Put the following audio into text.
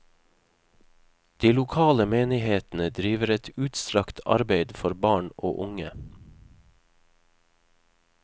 De lokale menighetene driver et utstrakt arbeid for barn og unge.